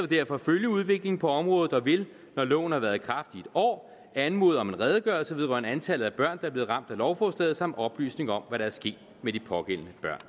derfor følge udviklingen på området og vil når loven har været i kraft i et år anmode om en redegørelse vedrørende antallet af børn er blevet ramt af lovforslaget samt oplysning om hvad der er sket med de pågældende børn